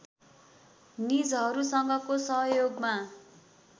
निजहरूसँगको सहयोगमा